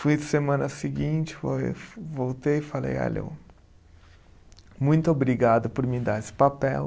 Fui semana seguinte, foi voltei e falei, olha eu, muito obrigado por me dar esse papel.